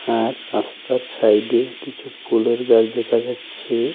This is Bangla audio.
আর রাস্তার সাইডে কিছু ফুলের গাছ দেখা যাচ্ছে।